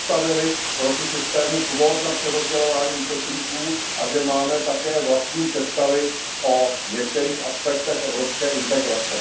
postavili proti systému kvót na přerozdělování uprchlíků a že máme také vlastní představy o některých aspektech evropské integrace.